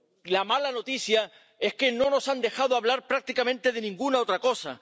La mala noticia es que no nos han dejado hablar prácticamente de ninguna otra cosa.